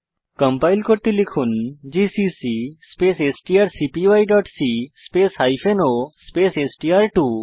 compile করতে লিখুন GCC space strcpyসি স্পেস o স্পেস এসটিআর2